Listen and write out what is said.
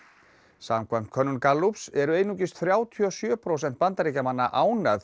samkvæmt könnun Gallups eru einungis þrjátíu og sjö prósent Bandaríkjamanna ánægð